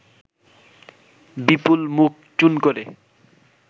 বিপুল মুখ চুন করে